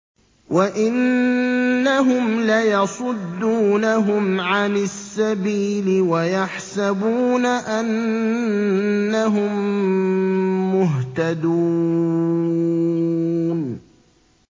وَإِنَّهُمْ لَيَصُدُّونَهُمْ عَنِ السَّبِيلِ وَيَحْسَبُونَ أَنَّهُم مُّهْتَدُونَ